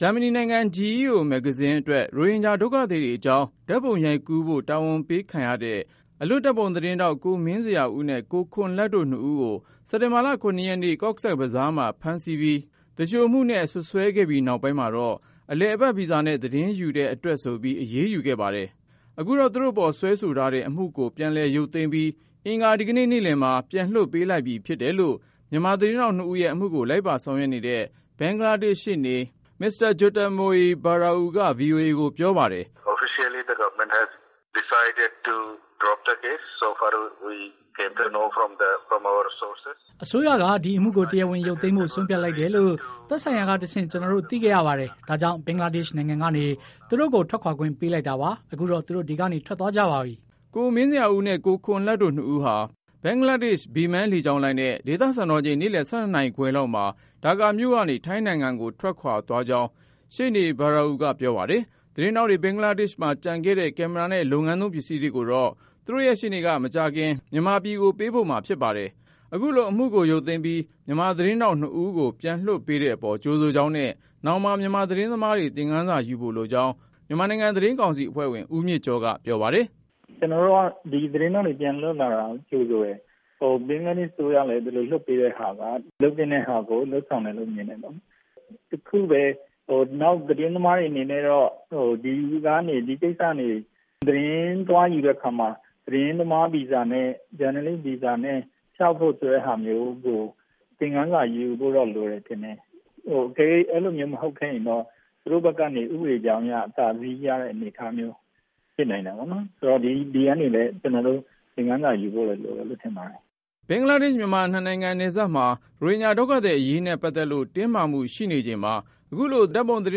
ဂျာမနီနိုင်ငံ GEO မဂ္ဂဇင်းအတွက် ရိုဟင်ဂျာဒုက္ခသည်တွေအကြောင်း ဓါတ်ပုံရိုက်ကူးဖို့ တာဝန်ပေးခံရတဲ့ အလွတ် ဓါတ်ပုံသတင်းထောက် ကိုမင်းဇေယျာဦးနဲ့ ကိုခွန်လတ်တို့ နှစ်ဦးကို စက်တင်ဘာလ ရက်နေ့ Cox’s Bazar မှာ ဖမ်းဆီးပြီး သူလျှိုမှုနဲ့ စွပ်စွဲခဲ့ပြီးနောက်ပိုင်းမှာတော့ အလည်အပတ် ဗီဇာနဲ့ သတင်းယူတဲ့ အတွက်ဆိုပြီး အရေးယူခဲ့ပါတယ်။ အခုတော့ သူတို့ပေါ် စွဲဆိုထားတဲ့ အမှုကိုပြန်လည် ရုပ်သိမ်းပြီး အင်္ဂါဒီကနေ့ နေ့လည်မှာ ပြန်လွှတ်ပေးလိုက်ပြီ ဖြစ်တယ်လို့ မြန်မာသတင်း ထောက် နှစ်ဦးရဲ့အမှုကို လိုက်ပါဆောင်ရွက်နေတဲ့ ဘင်္ဂလားဒေ့ရှ် ရှေ့နေ မစ္စတာ Jyotirmoy Barua က VOA ကိုပြောပါတယ်။ “အစိုးရက ဒီအမှုကို တရားဝင်ရုပ်သိမ်းဖို့ ဆုံးဖြတ်လိုက်တယ်လို့ သက်ဆိုင်ရာကတဆင့် ကျနော်တို့ သိခဲ့ရပါတယ်။ ဒါကြောင့် ဘင်္ဂလားဒေ့ရှ် နိုင်ငံကနေ သူတို့ကို ထွက်ခွာခွင့် ပေးလိုက်တာပါ။ ခုတော့ သူတို့ ဒီကနေ ထွက်သွားကြပါပြီ” ကိုမင်းဇေယျာဦးနဲ့ ကိုခွန်လတ်တို့ နှစ်ဦးဟာ ဘင်္ဂလားဒေ့ရှ် Biman လေကြောင်းလိုင်းနဲ့ ဒေသစံတော်ချိန်နေ့လည် ၁၂နာရီခွဲ လောက်မှာဒါကာမြို့ကနေ ထိုင်းနိုင်ငံကို ထွက်ခွာသွားကြောင်း ရှေ့နေ Barua ကပြောပါတယ်။ သတင်းထောက်တွေ ဘင်္ဂလားဒေ့ရှ်မှာ ကျန်ခဲ့တဲ့ ကင်မရာနဲ့ လုပ်ငန်းသုံးပစ္စည်းတွေကိုတော့ သူတို့ရှေ့နေက မကြာခင် မြန်မာပြည်ကို ပို့ပေးမှာဖြစ်ပါတယ်။ အခုလို အမှုကိုရုပ်သိမ်းပြီး မြန်မာသတင်းထောက် နှစ်ဦးကို ပြန်လွှတ်ပေးတဲ့အပေါ် ကြိုဆိုကြောင်းနဲ့ နောင်မှာ မြန်မာသတင်းသမားတွေ သင်ခန်းစာ ယူဖို့လိုကြောင်း မြန်မာနိုင်ငံ သတင်းကောင်စီအဖွဲ့ဝင် ဦးမြင့်ကျော်က ပြောပါတယ်။ “ကျနော်တို့က ဒီသတင်းထောက်တွေပြန်လွတ်လာတာကို ကြိုဆိုတယ်၊ ဘင်္ဂလားဒေ့ရှ်အစိုးရလည်း ဒီလိုလွတ်ပေးတာက လုပ်သင့်တဲ့ဟာကို လုပ်ဆောင်တယ်လို့ မြင်တယ်ပေါ့နော်။ တခုပဲ နောက်သတင်းသမားတွေအနေနဲ့တော့ ဒီကိစ္စတွေသတင်းသွားယူတဲ့အခါမှာ သတင်းသမားဗီဇာနဲ့ ဂျာနယ်လစ် ဗီဇာနဲ့ လျှောက်ဖို့ဆိုတာမျိုးကို သင်ခန်းစာယူဖို့လိုမယ်လို့တော့ ထင်တယ်။ အကယ်၍အဲလိုမျိုးမဟုတ်ခဲ့ရင်တော့ သူတို့ဘက်ကနေ ဥပဒေအကြောင်းအရ အသာစီးရတဲ့အနေအထားမျိုးဖြစ်နိုင်တာပေါ့နော်။ ဒီကနေလည်း ကျနော်တို့ သင်ခန်းစာယူဖို့တော့လိုတယ်လို့ ထင်ပါတယ်။” ဘင်္ဂလား-မြန်မာ နှစ်နိုင်ငံနယ်စပ်မှာ ရိုဟင်ဂျာဒုက္ခသည် အရေးနဲ့ပတ်သက်လို့ တင်းမာမှုရှိနေချိန်မှာ ခုလို ဓါတ်ပုံသတ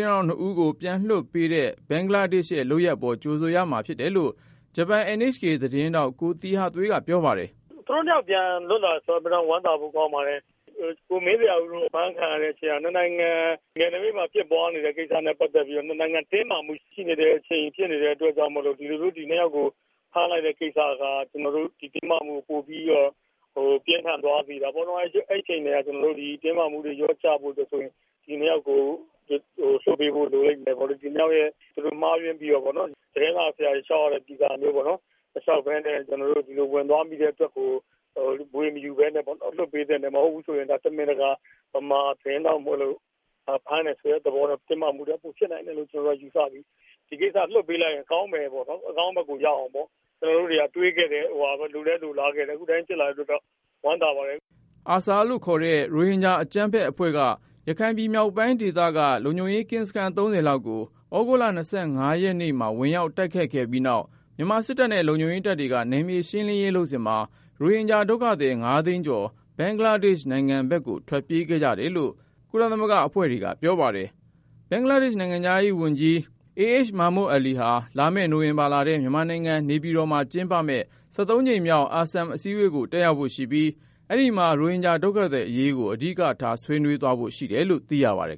င်းထောက် နှစ်ဦးကို ပြန်လွှတ်ပေးတဲ့ ဘင်္ဂလားဒေ့ရှ်ရဲ့လုပ်ရပ်အပေါ် ကြိုဆိုရမှာ ဖြစ်တယ်လို့ ဂျပန် NHK သတင်းထောက် ကိုသီဟသွေးက ပြောပါတယ်။ “သူတို့၂ ယောက်ပြန်လွှတ်လာတယ်ဆိုတော့ ဝမ်းသာဖို့ကောင်းပါတယ်။ ကိုမင်းဇေယျာဦးတို့အဖမ်းခံရတဲ့ကိစ္စက ၂ နိုင်ငံ နယ်နိမိတ်မှာ ဖြစ်ပွားနေတဲ့ ကိစ္စနဲ့ ပတ်သက်ပြီးတော့ ၂ နိုင်ငံတင်းမာမှုဖြစ်နေတဲ့အချိန်ဖြစ်နေတဲ့အတွက်ကြောင့်မို့လို့ ဒီလိုမျိုး သူတို့ကိုဖမ်းလိုက်တဲ့ကိစ္စက ဒီတင်းမာမှုကို ပိုပြီးတော့ ပြင်းထန်သွားစေတာပေါ့နော်။ အဲဒီအချိန်ကတည်းက တင်းမာမှုတွေ လျှော့ကျဖို့အတွက်ဆိုရင် ဒီ ၂ ယောက်ကို လွှတ်ပေးဖို့လိုလိမ့်မယ်ပေါ့နော်။ ဒီ၂ ယောက်ရဲ့ မှားယွင်းပြီးတော့ သတင်းစာဆရာတွေ လျှောက်ရတဲ့ ဗီဇာတွေပေါ့နော် မလျှောက်ပဲနဲ့ ကျနော်တို့ ဒီလိုဝင်သွားမိတဲ့အတွက်ကို ဗွေမယူပဲနဲ့ လွှတ်ပေးသင့်တယ်။ မဟုတ်ဘူးဆိုရင် တမင်တကာ မြန်မာသတင်းထောက်မို့လို့ ဖမ်းတယ်ဆိုတဲ့သဘောကြောင့် တင်းမာမှုတွေ ပိုဖြစ်နိုင်တယ်ဆိုတာ ကျနော်တို့ ယူဆပြီး ဒီကိစ္စလွှတ်ပေးလိုက်ရင်ကောင်းမယ်ပေါ့နော် အကောင်းဘက်ကိုရောက်အောင်ပေါ့။ ကျနော်တို့တွေက တွေ့ခဲ့တဲ့ လိုလည်းလိုလားခဲ့တယ် အခုလိုဖြစ်လာတဲ့အတွက်ကြောင့် ဝမ်းသာပါတယ်။” ARSA ခေါ်တဲ့ ရိုဟင်ဂျာအကြမ်းဖက်အဖွဲ့က ရခိုင်ပြည်နယ်မြောက်ပိုင်းဒေသက လုံခြုံရေးကင်းစခန်း လောက်ကို သြဂုတ်လ ရက်နေ့ မှာ ဝင်ရောက် တိုက်ခိုက်ခဲ့ပြီးနောက်၊ မြန်မာစစ်တပ်နဲ့ လုံခြုံရေးတပ်တွေက နယ်မြေရှင်းလင်းရေးလုပ်စဉ်မှာ ရိုဟင်ဂျာဒုက္ခသည် သိန်း ကျော် ဘင်္ဂလားဒေ့ရ်ှနယ်စပ်ကို ထွက်ပြေးခဲ့ကြတယ်လို့ ကုလသမဂ္ဂအဖွဲ့တွေက ပြောပါတယ်။ ဘင်္ဂလားဒေ့ရှ် နိုင်ငံခြားရေးဝန်ကြီး Abul Hassan Mahmood Ali ဟာ လာမယ့်နိုဝင်ဘာလထဲ မြန်မာနိုင်ငံ နေပြည်တော်မှာ ကျင်းပမယ့် ကြိမ်မြောက် ASEM အစည်းအဝေးကို တက်ရောက်ဖို့ရှိပြီး၊ ရိုဟင်ဂျာဒုက္ခသည် အရေးကိုလည်း ဆွေးနွေးဖို့ရှိတယ်လို့ သိရပါတယ်